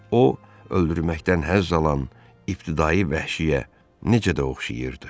O, öldürməkdən həzz alan ibtidai vəhşiyə necə də oxşayırdı.